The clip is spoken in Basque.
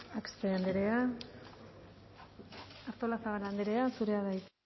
axpe andrea artolazabal andrea zurea da hitza